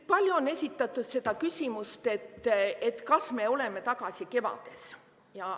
Palju on esitatud seda küsimust, et kas me oleme tagasi kevades.